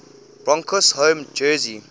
broncos home jersey